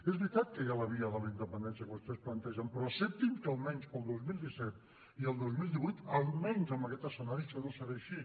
és veritat que hi ha la via de la independència que vostès plantegen però acceptin que almenys per al dos mil disset i el dos mil divuit almenys en aquest escenari això no serà així